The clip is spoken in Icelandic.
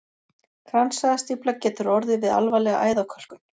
Kransæðastífla getur orðið við alvarlega æðakölkun.